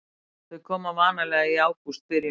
Þau komu vanalega í ágústbyrjun.